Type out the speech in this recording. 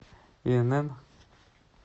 инн